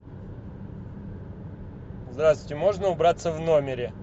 здравствуйте можно убраться в номере